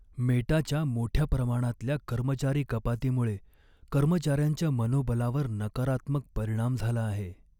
मेटाच्या मोठ्या प्रमाणातल्या कर्मचारी कपातीमुळे कर्मचाऱ्यांच्या मनोबलावर नकारात्मक परिणाम झाला आहे.